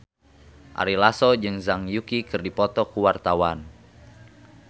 Ari Lasso jeung Zhang Yuqi keur dipoto ku wartawan